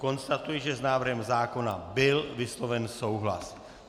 Konstatuji, že s návrhem zákona byl vysloven souhlas.